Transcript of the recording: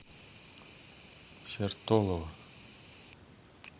сертолово